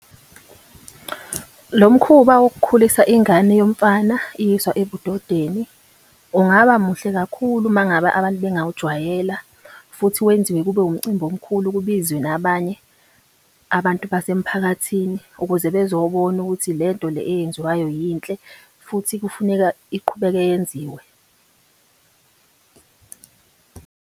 Lo mkhuba wokukhulisa ingane yomfana iyiswa ebudodeni ungaba muhle kakhulu mangaba abantu bengawujwayela. Futhi wenziwe kube umcimbi omkhulu kubizwe nabanye abantu basemphakathini ukuze bezobona ukuthi le nto le eyenziwayo yinhle, futhi kufuneka iqhubeke yenziwe .